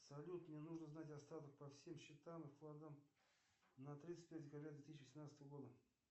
салют мне нужно знать остаток по всем счетам и вкладам на тридцать первое декабря две тысячи восемнадцатого года